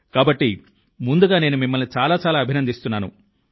కాబట్టి ముందుగా నేను మిమ్మల్ని చాలా చాలా అభినందిస్తున్నాను